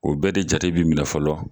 O bɛɛ de jate bɛ minɛ fɔlɔ.